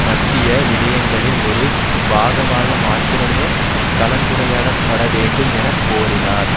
மத்திய விடயங்களின் ஒரு பாகமாக மாத்திரமே கலந்துரையாடப்பட வேண்டும் என கோரினார்